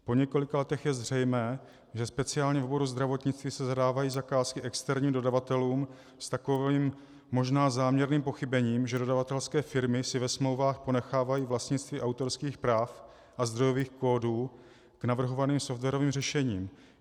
Po několika letech je zřejmé, že speciálně v oboru zdravotnictví se zadávají zakázky externím dodavatelům s takovým možná záměrným pochybením, že dodavatelské firmy si ve smlouvách ponechávají vlastnictví autorských práv a zdrojových kódů k navrhovaným softwarovým řešením.